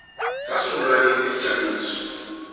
sasungulwa nini isijamiso